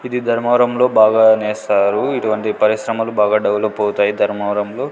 ఇది ధర్మవరంలో బాగా నేస్తారు ఇటువంటి పరిశ్రమలు బాగా డెవలప్ అవుతాయి ధర్మవరంలో.